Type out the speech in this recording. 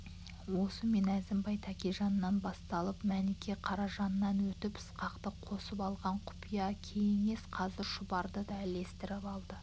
осымен әзімбай тәкежаннан басталып мәніке қаражаннан өтіп ысқақты қосып алған құпия кеңес қазір шұбарды да ілестіріп алды